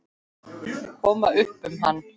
Koma upp um hann.